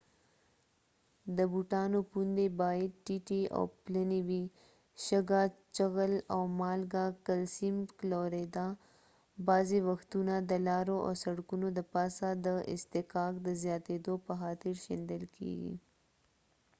د بوټانو پوندې باید ټیټې او پلنې وي. شګه، چغل او مالګه کلسیم کلوراید بعضې وختونه د لارو او سړکونو دپاسه د اصطکاک د زیاتیدو په خاطر شیندل کیږي